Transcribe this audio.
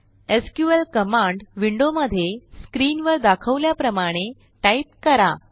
SQL command विंडोमधे screenवर दाखवल्याप्रमाणे टाईप करा